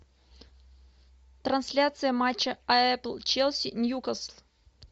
трансляция матча апл челси ньюкасл